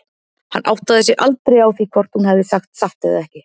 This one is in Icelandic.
Hann áttaði sig aldrei á því hvort hún hefði sagt satt eða ekki.